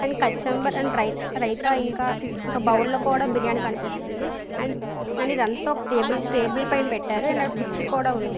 And కచంబరి and raita ఇంకా రైతా ఇంకా బౌల్ లో కూడా బిర్యానీ కనిపిస్తుంది. అండ్ ఇదంతా ఒక టేబుల్ పైన టేబుల్ పైన పెట్టారు. అండ్ కుర్చీలు కూడా ఉంది.